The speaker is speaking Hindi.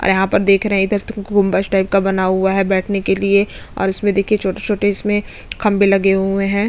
यहाँ पर देख रहे है इधर कुंबद टाइप का बना हुआ है बैठने के लिए और इसमें देखिये छोटे - छोटे इसमें खंबे लगे हुए है।